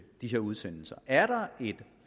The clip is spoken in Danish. disse udsendelser er der en